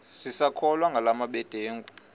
sisakholwa ngala mabedengu